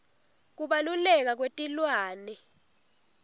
kubaluleka kwetilwane